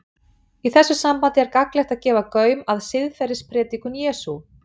Í þessu sambandi er gagnlegt að gefa gaum að siðferðispredikun Jesú.